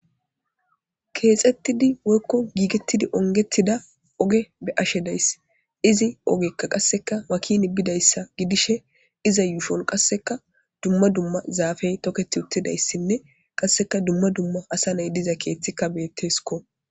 Keexettidi woykko giigettidi ongettida oge be ashedays izi ogekka qasseka makini bidayssa gidishe iza yuusfon qasseka dumma dumma zaafey toketi uttidayssinne qasseka dumma dumma asa nay diza keeththikka beetteskko.